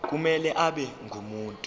kumele abe ngumuntu